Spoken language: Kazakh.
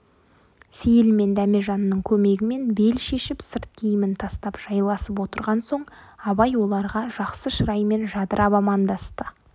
сейіл мен дәмежанның көмегімен бел шешіп сырт киімін тастап жайласып отырған соң абай оларға жақсы шыраймен жадырап амандасты